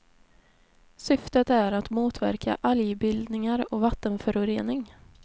Syftet är att motverka algbildningar och vattenförorening.